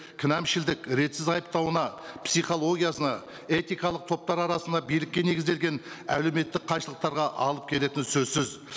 кінәмшілдік ретсіз айыптауына психологиясына этикалық топтар арасында билікке негізделген әлеуметтік қайшылықтарға алып келетіні сөзсіз